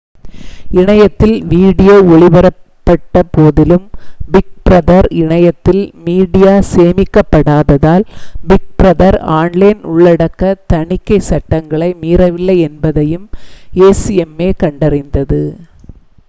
இணையத்தில் வீடியோ ஒளிபரப்பப்பட்டபோதிலும் Big Brother இணையதளத்தில் மீடியா சேமிக்கப்படாததால் பிக் பிரதர் ஆன்லைன் உள்ளடக்க தணிக்கைச் சட்டங்களை மீறவில்லை என்பதையும் acma கண்டறிந்தது